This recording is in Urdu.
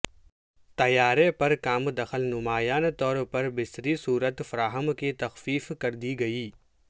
طیارے پر کام دخل نمایاں طور پر بصری صورت فراہم کی تخفیف کر دی گئی